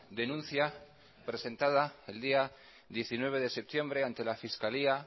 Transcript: denuncia presentada el día diecinueve de septiembre ante la fiscalía